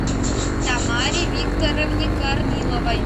тамаре викторовне корниловой